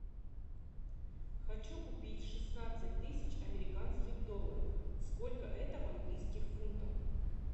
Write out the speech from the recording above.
хочу купить шестнадцать тысяч американских долларов сколько это в английских фунтах